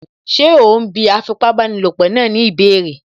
Ṣé òún bí afipábanílòpọ̀ náà ní ìbéèrè?